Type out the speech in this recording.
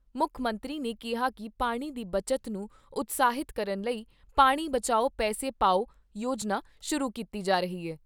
ਮੁੱਖ ਮੰਤਰੀ ਨੇ ਕਿਹਾ ਕਿ ਪਾਣੀ ਦੀ ਬਚਤ ਨੂੰ ਉਤਸ਼ਾਹਿਤ ਕਰਨ ਲਈ ' ਪਾਣੀ ਬਚਾਓ ਪੈਸੇ ਪਾਓ ' ਯੋਜਨਾ ਸ਼ੁਰੂ ਕੀਤੀ ਜਾ ਰਹੀ ਐ।